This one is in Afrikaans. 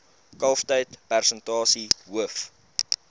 kalftyd persentasie hoof